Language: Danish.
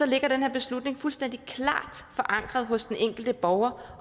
ligger den her beslutning fuldstændig klart forankret hos den enkelte borger